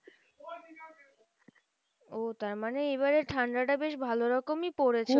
ও তার মানে এবারে ঠান্ডাটা বেশ ভালো রকমই পড়েছে?